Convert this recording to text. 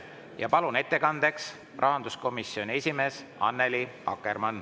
Ma palun ettekandjaks rahanduskomisjoni esimehe Annely Akkermanni.